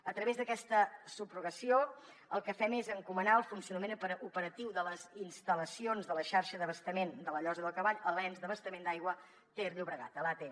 a través d’aquesta subrogació el que fem és encomanar el funcionament operatiu de les instal·lacions de la xarxa d’abastament de la llosa del cavall a l’ens d’abastament d’aigua ter llobregat a l’atll